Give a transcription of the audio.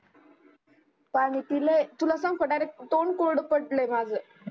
पानी पिले तुला सांगू direct का तोंड कोरड पडले माझ